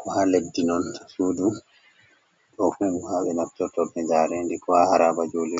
ko ha leddi non sudu. Ɗofu ni ha be naftorta be jarendi, ko ha haraba jolulɗe.